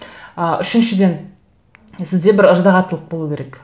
ы үшіншіден сізде бір ыждағаттылық болу керек